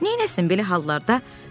Neynəsin belə hallarda?